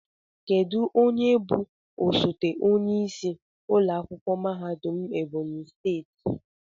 Kedu onye bụ osote onyeisi ụlọ akwụkwọ mahadum Ebonyi steeti?